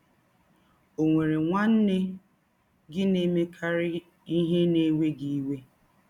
Ọ̀ nwere nwanne gị na - emekarị ihe na - ewe gị iwe?